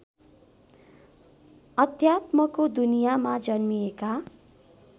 अध्यात्मको दुनियाँमा जन्मिएका